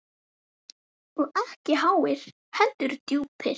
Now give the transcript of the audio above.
Og ekki háir, heldur djúpir.